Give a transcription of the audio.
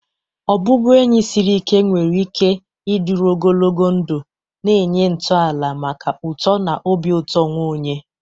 Ọbụbụenyi siri ike nwere ike ịdịru ogologo ndụ, na-enye ntọala maka uto na obi ụtọ onwe onye.